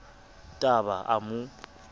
t a ba a mo